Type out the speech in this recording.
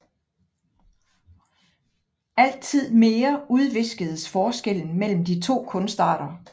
Altid mere udviskedes forskellen mellem de to kunstarter